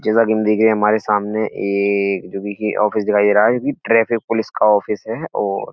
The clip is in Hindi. जैसा की हम देखिए हमारे सामने ऐ जो कि ऑफिस दिखाई दे रहा है जो कि ट्राफिक पुलिस का ऑफिस है और --